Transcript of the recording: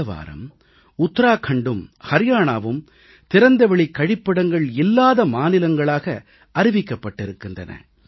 இந்த வாரம் உத்தராக்கண்டும் அரியானாவும் திறந்தவெளிக் கழிப்பிடங்கள் இல்லாத மாநிலங்களாக அறிவிக்கப்பட்டிருக்கின்றன